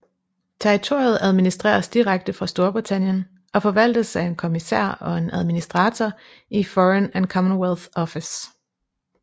Territoriet administreres direkte fra Storbritannien og forvaltes af en kommissær og en administrator i Foreign and Commonwealth Office